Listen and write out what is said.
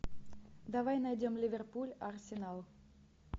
давай найдем ливерпуль арсенал